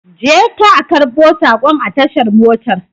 Je ka a karbon sakon a tashar motar